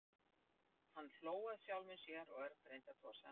Hann hló að sjálfum sér og Örn reyndi að tosa hann upp.